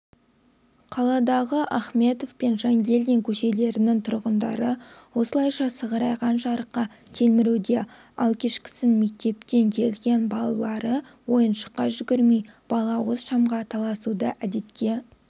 қаладағы ахметов пен жангельдин көшелерінің тұрғындары осылайша сығырайған жарыққа телміруде ал кешкісін мектептен келген балалары ойыншыққа жүгірмей балауыз шамға таласуды әдетке